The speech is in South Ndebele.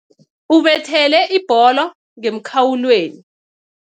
Ubethele ibholo ngemkhawulweni.